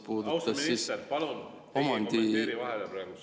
Austatud minister, palun, teie praegu ei kommenteeri.